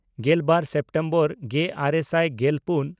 ᱜᱮᱞᱵᱟᱨ ᱥᱮᱯᱴᱮᱢᱵᱚᱨ ᱜᱮᱼᱟᱨᱮ ᱥᱟᱭ ᱜᱮᱞᱯᱩᱱ